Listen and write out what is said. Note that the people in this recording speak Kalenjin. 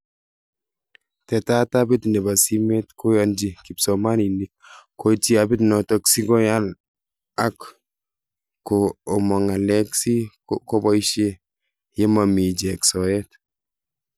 Tetat appit nebo simet koyanchi kipsomaninik koityi appit notok si koyal ak ko mong ng'alek si koboishe ye mami ichek soet.